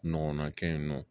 Ɲɔgɔnna kɛ yen nɔ